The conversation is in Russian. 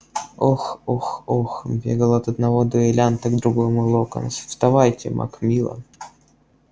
ох ох ох бегал от одного дуэлянта к другому локонс вставайте макмиллан